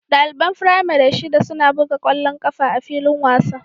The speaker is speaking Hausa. Ɗaliban firamare shida suna buga ƙwallon ƙafa a filin wasa